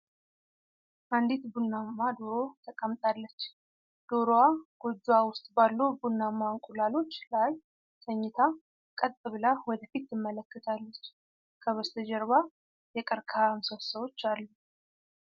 አንዲት ቡናማ ዶሮ ተቀምጣለች። ዶሮዋ ጎጇዋ ውስጥ ባሉ ቡናማ እንቁላሎች ላይ ተኝታ፣ ቀጥ ብላ ወደ ፊት ትመለከታለች። ከበስተጀርባ የቀርከሃ ምሰሶዎች አሉ።